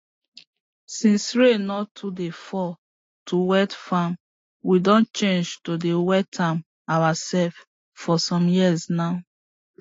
since rain no too dey fall to wet farm we don change to dey wet am our self for some years now